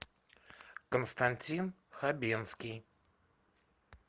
константин хабенский